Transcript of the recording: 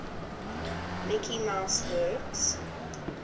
mickey mouse works